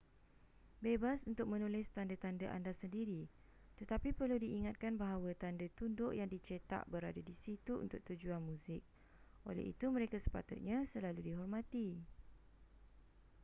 bebas untuk menulis tanda-tanda anda sendiri tetapi perlu diingatkan bahwa tanda tunduk yang dicetak berada di situ untuk tujuan muzik oleh itu mereka sepatutnya slalu dihormati